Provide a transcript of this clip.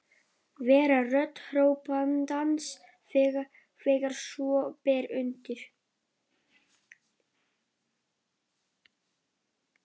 Vera rödd hrópandans þegar svo ber undir.